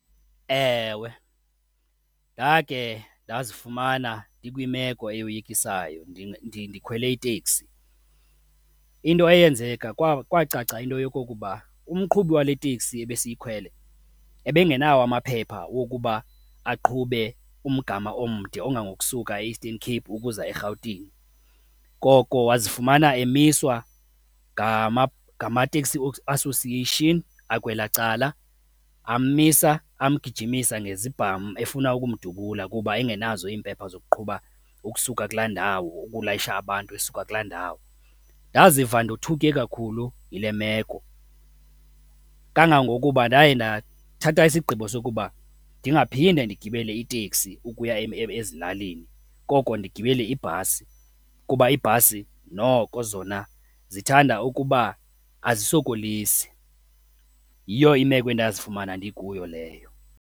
Ewe, ndakhe ndazifumana ndikwimeko ekoyikisayo ndikhwele iteksi. Into eyenzeka kwacaca into yokokuba umqhubi wale teksi ebesiyikhwele ebengenawo amaphepha wokuba aqhube umgama omde ongangokusuka e-Eastern Cape ukuza eRhawutini, koko wazifumana emiswa ngama-taxi association akwelaa cala. Ammisa, amgijimisa ngezibhamu efuna umdubulula kuba engenazo iimpepha zoqhuba ukusuka kulaa ndawo, ukulayisha abantu esuka kulaa ndawo. Ndaziva ndothuke kakhulu yile meko kangangokuba ndaye ndathatha isigqibo sokuba ndingaphinda ndigibele iteksi ukuya ezilalini, koko ndigibele ibhasi kuba iibhasi noko zona zithanda ukuba azisokolisi. Yiyo imeko endazifumana ndikuyo leyo.